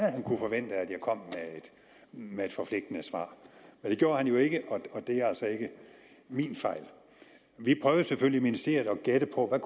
jeg kom med et forpligtende svar men det gjorde han jo ikke og det er altså ikke min fejl vi prøver selvfølgelig i ministeriet at gætte på hvad